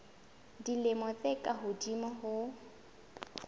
dilemo tse ka hodimo ho